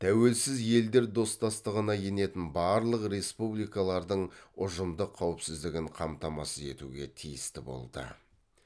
тәуелсіз елдер достастығына енетін барлық республикалардың ұжымдық қауіпсіздігін қамтамасыз етуге тиісті болды